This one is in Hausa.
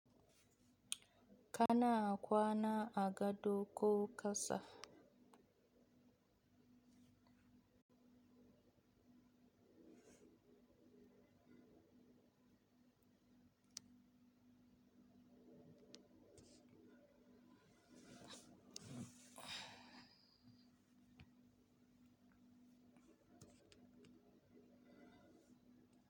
Kana kwana agado ko kasa.